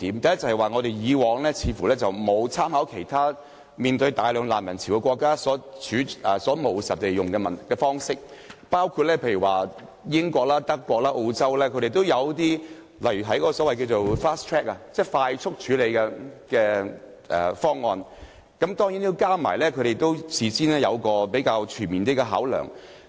第一，我們過往似乎沒有參考其他面對大量難民潮的國家的務實處理方式，例如英國、德國及澳洲均有實施一些快速處理方案，但當然須在事前作出比較全面的考量。